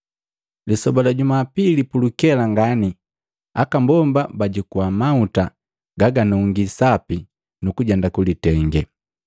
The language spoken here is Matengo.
Lisoba la Jumapili pulukela ngani aka mbomba bajukua mahuta gaganungi sapi nu kujenda kulitenge.